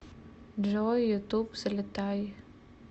джой ютуб взлетай